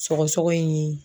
Sɔgɔsɔgɔ in ye